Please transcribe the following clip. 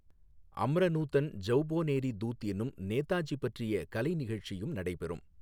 அம்ர நூதன் ஜௌபோநேரி தூத் என்னும் நேதாஜி பற்றிய கலை நிகழ்ச்சியும் நடைபெறும்.